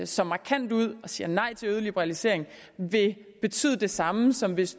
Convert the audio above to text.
så markant ud og siger nej til yderligere liberalisering vil betyde det samme som hvis